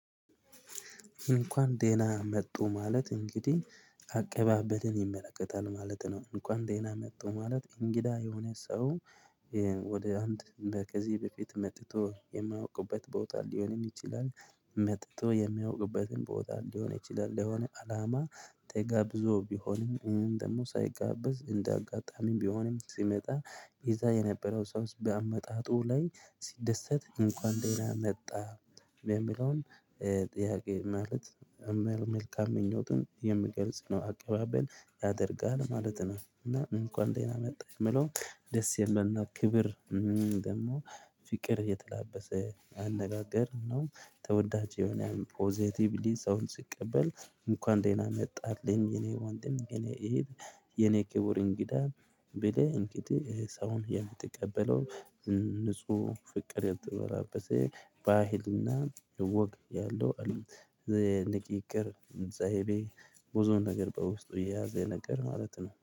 እንኳን ደህና መጡ ማለት እንግዲህ አቀባበልን ይመለከታል ማለት ነው። እንኳን ደህና መጡ ማለት እንግዳ የሆነ ሰው። ወደ አንድ በከዚህ በፊት መጥቶ የማያውቅበት ቦታ ሊሆንም ይችላል። መጥቶ የሚያውቅበትን ቦታ ሊሆን ይችላል ለሆነ አላማ ተጋብዞ ቢሆንም ወይም ደግሞ ሳይጋበዝ እንደ አጋጣሚም ቢሆንም ሲመጣ። ይዛ የነበረው ሰው በአመጣጡ ላይ ሲደሰት እንኳን ደህና መጣ። የሚለውን ጥያቄ ማለት እመል መልካም ምኞቱን የምገልጽ ነው። አቀባበል ያደርጋል ማለት ነው። እና እንኳን ደህና መጣ የምለው ደስየሚል ናክብር ደግሞ ፍቅር የተላበሰ አነጋገር ነው። ተወዳጅ የሆነ ፖዘቲቭሊ ሰውን ሲቀበል እንኳን ደህና መጣህልኝ የኔ ወንድም የኔ እህት። የኔ ክቡር እንግዳ ብለህ እንግዲህ ሰውን የምትቀበለው። ንጹህ ፍቅር የምትበራበት ባህልና እወቅ ያለው አሉ። የንቂቅር ዘሄቤ ብዙ ነገር በውስጡ የያዘ ነገር ማለት ነው